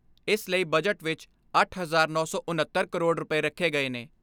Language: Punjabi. ਇਸ ਲਈ ਬਜਟ ਵਿਚ ਅੱਠ ਹਜਾਰ ਨੌ ਸੌ ਉਨੱਤਰ ਕਰੋੜ ਰੁਪਏ ਰੱਖੇ ਗਏ ਨੇ।